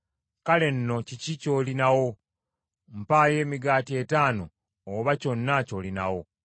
Kale nno kiki ky’olina wo? Mpaayo emigaati etaano, oba kyonna ky’olinawo.”